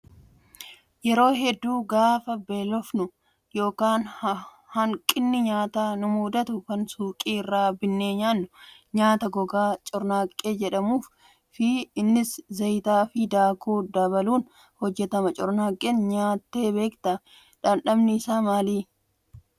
Yeroo hedduu gaafa beelofnu yookiin hanqinni nyaataa nu mudatu kan suuqii irraa binnee nyaannu nyaata gogaa cornaaqqee jedhamuun fi innis zayitaa fi daakuu dabaluun hojjatama. Cornaaqqee nyaattee beektaa? Dhamdhamni isaa maali?